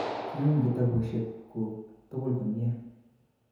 Kiyum kitabushek kuk tugul komie